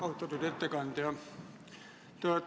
Austatud ettekandja!